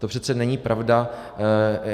To přece není pravda.